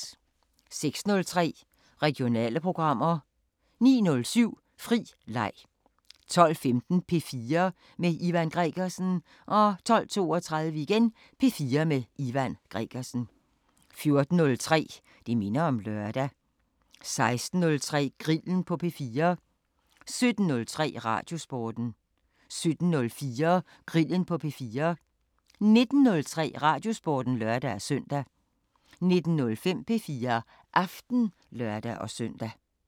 06:03: Regionale programmer 09:07: Fri leg 12:15: P4 med Ivan Gregersen 12:32: P4 med Ivan Gregersen 14:03: Det minder om lørdag 16:03: Grillen på P4 17:03: Radiosporten 17:04: Grillen på P4 19:03: Radiosporten (lør-søn) 19:05: P4 Aften (lør-søn)